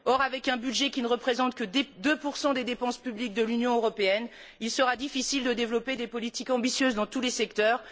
Or, avec un budget qui ne représente que 2 des dépenses publiques de l'Union européenne, il sera difficile de développer des politiques ambitieuses dans tous les secteurs.